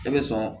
E bɛ sɔn